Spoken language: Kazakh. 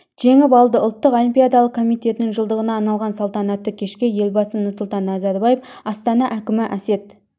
жеңіп алды ұлттық олимпиадалық комитетінің жылдығына арналған салтанатты кешке елбасы нұрсұлтан назарбаев астана әкімі әсет